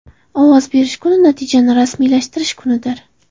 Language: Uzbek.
Ovoz berish kuni natijani rasmiylashtirish kunidir.